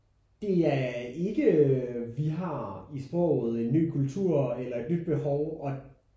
Det er ikke vi har i sproget en ny kultur eller et nyt behov og